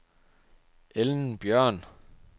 Ellen Bjørn